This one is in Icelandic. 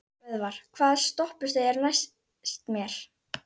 Böðvar, hvaða stoppistöð er næst mér?